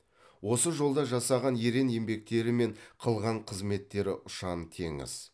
осы жолда жасаған ерен еңбектері мен қылған қызметтері ұшан теңіз